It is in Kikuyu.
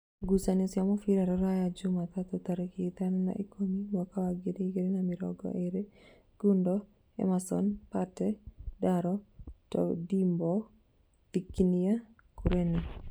Ngucanio cia mũbira Rūraya Jumatatũ tarĩki ithano wa ikũmi mwaka wa ngiri igĩrĩ na mĩrongo ĩrĩ: Gundo, Emason, Pate, Ndaro, Tondimbo, Thikinia, Kureni